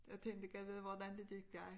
Jeg tlnkte gad vide hvordan det gik dig